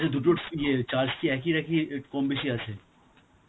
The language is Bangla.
আচ্ছা দুটো ইয়ে~ charge কি এক~ একই, আ একটু কম বেশি আছে?